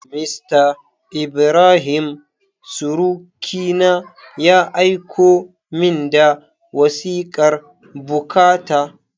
Mista Ibrahim surukina, ya aiko min da wasikar bukata.